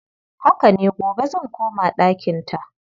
Haka ne, gobe zan koma ɗakinta.